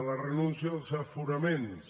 la renúncia dels aforaments